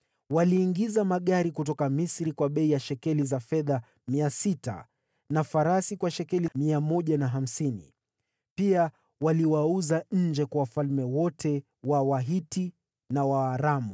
Waliagiza magari kutoka Misri kwa bei ya shekeli 600 za fedha na farasi kwa shekeli 150. Pia waliwauza nje kwa wafalme wote wa Wahiti na wa Waaramu.